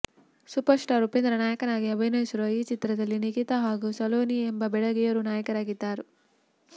superstar Upendra ನಾಯಕನಾಗಿ ಅಭಿನಯಿಸಿರುವ ಈ ಚಿತ್ರದಲ್ಲಿ ನಿಖಿತಾ ಹಾಗೂ ಸಲೋನಿ ಎಂಬ ಬೆಡಗಿಯರು ನಾಯಕಿಯರಾಗಿದ್ದಾರೆ